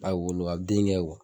A wolo a den kɛ